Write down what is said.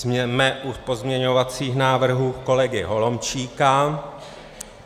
Jsme u pozměňovacích návrhů kolegy Holomčíka.